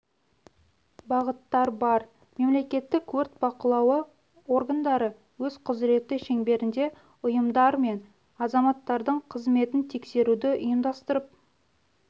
бағыттар бар мемлекеттік өрт бақылауы органдары өз құзіреті шеңберінде ұйымдар мен азаматтардың қызметін тексеруді ұйымдастырып